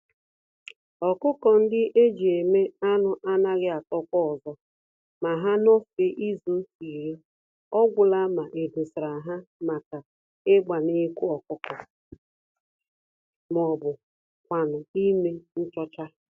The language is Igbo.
ọkụkọ-ndị-eji-eme-anụ anaghị etokwa ọzọ ma ha nọfee izuka iri, ọgwụla ma edosara ha màkà ịgba nnekwu ọkụkọ m'obu kwánụ ímé nchọcha.